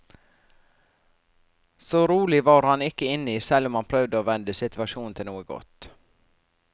Så rolig var han ikke inni, selv om han prøvde å vende situasjonen til noe godt.